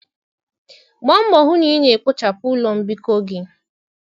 Gbaa mbọ hụ na ị na-kpochapụ ụlọ mbikọ gị.